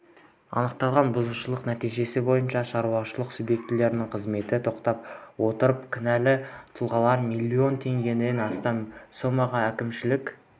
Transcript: анықталған бұзушылық нәтижесі бойынша шаруашылық субъектілерінің қызметін тоқтата отырып кінәлі тұлғалар миллион теңгеден астам сомаға әкімшілік